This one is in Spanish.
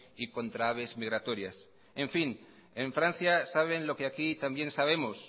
y contra aves migratorias en fin en francia saben lo que aquí también sabemos